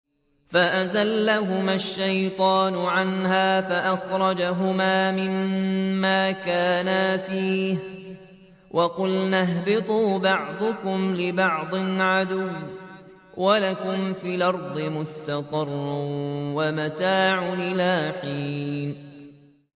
فَأَزَلَّهُمَا الشَّيْطَانُ عَنْهَا فَأَخْرَجَهُمَا مِمَّا كَانَا فِيهِ ۖ وَقُلْنَا اهْبِطُوا بَعْضُكُمْ لِبَعْضٍ عَدُوٌّ ۖ وَلَكُمْ فِي الْأَرْضِ مُسْتَقَرٌّ وَمَتَاعٌ إِلَىٰ حِينٍ